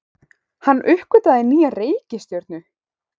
Hann uppgötvaði nýja reikistjörnu!